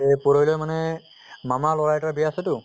যে পুৰহি লৈ মানে মামাৰ লʼৰা এটাৰ বিয়া আছে তো